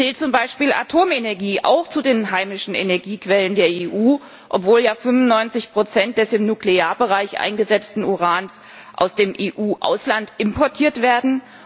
Zählt zum Beispiel Atomenergie auch zu den heimischen Energiequellen der EU, obwohl ja 95 des im Nuklearbereich eingesetzten Urans aus dem EU Ausland importiert werden?